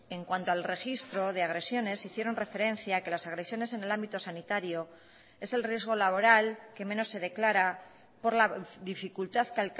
en cuanto al registro de agresiones hicieron referencia que las agresiones en el ámbito sanitario es el riesgo laboral que menos se declara por la dificultad que